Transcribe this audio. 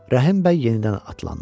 Rəhim bəy yenidən atlandı.